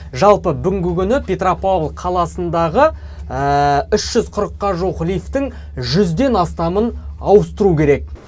жалпы бүгінгі күні петропавл қаласындағы үш жүз қырыққа жуық лифтінің жүзден астамын ауыстыру керек